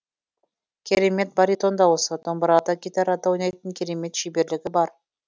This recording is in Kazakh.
керемет баритон дауысы домбырада гитарада ойнайтын керемет шеберлігі бар